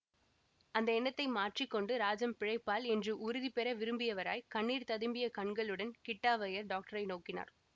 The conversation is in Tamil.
அந்த எண்ணத்தை மாற்றி கொண்டு ராஜம் பிழைப்பாள் என்று உறுதி பெற விரும்பியவராய் கண்ணீர் ததும்பிய கண்களுடன் கிட்டாவய்யர் டாக்டரை நோக்கினார்